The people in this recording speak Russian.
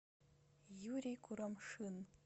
юрий курамшин